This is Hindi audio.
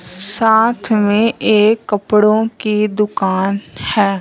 साथ में एक कपड़ों की दुकान है।